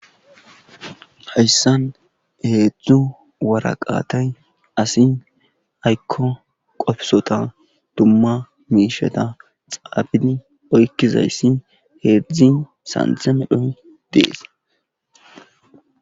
hayssan heedzdzu waraqatay asi aykko qofisota dumma miisheta xaafii oykkizayssi heedzdzi sanththe medhoy dees